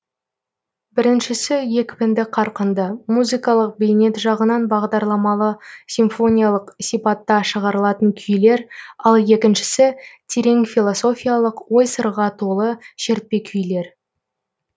біріншісі екпінді қарқынды музыкалық бейнет жағынан бағдарламалы симфониялық сипатта шығарылатын күйлер ал екіншісі терең философиялық ой сырға толы шертпе күйлер